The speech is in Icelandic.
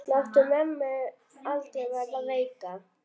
Láttu mömmu aldrei verða veika.